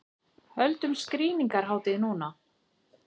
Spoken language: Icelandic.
Höldum skrýningarhátíð núna!